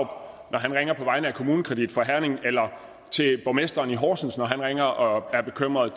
når han ringer på vegne af kommunekredit fra herning eller til borgmesteren i horsens når han ringer og er bekymret